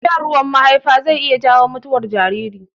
Shan ruwan mahaifa zai iya jawo mutuwar jariri.